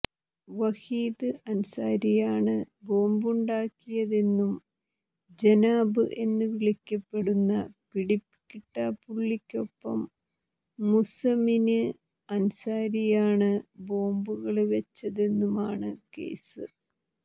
വഹീദ് അന്സാരിയാണ് ബോംബുണ്ടാക്കിയതെന്നും ജനാബ് എന്നുവിളിക്കപ്പെടുന്ന പിടികിട്ടാപ്പുള്ളിക്കൊപ്പം മുസമില് അന്സാരിയാണ് ബോംബുകള് വെച്ചതെന്നുമാണ് കേസ്